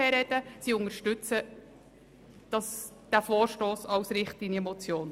Die Fraktion unterstützt diesen Vorstoss als Richtlinienmotion.